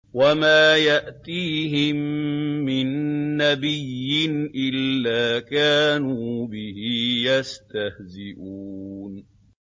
وَمَا يَأْتِيهِم مِّن نَّبِيٍّ إِلَّا كَانُوا بِهِ يَسْتَهْزِئُونَ